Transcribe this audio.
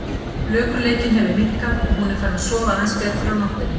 Flökurleikinn hefur minnkað og hún er farin að sofa aðeins betur á nóttunni.